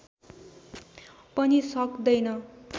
पनि सक्दैन